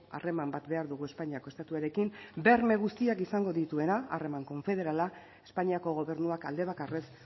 harreman bat behar dugu espainiako estatuarekin berme guztiak izango dituena harreman konfederala espainiako gobernuak aldebakarrez